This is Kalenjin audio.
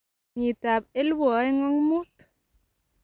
kenyitab 2005.